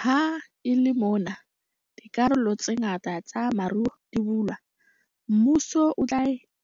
Ha e le mona dikarolo tse ngata tsa moruo di bulwa, mmuso o tla